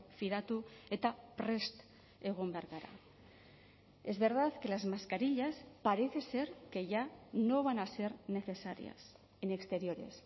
fidatu eta prest egon behar gara es verdad que las mascarillas parece ser que ya no van a ser necesarias en exteriores